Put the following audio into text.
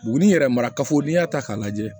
Buguni yɛrɛ marakafo n'i y'a ta k'a lajɛ